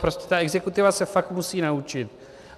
Prostě ta exekutiva se fakt musí naučit.